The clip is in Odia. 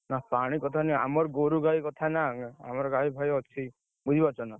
ନା ପାଣି କଥା ନୁହେଁ, ଆମର ଗୋରୁଗାଈ କଥା ନା ଆମର ଗାଈ ଭୟ ଅଛି ବୁଝିପାରୁଛ ନା!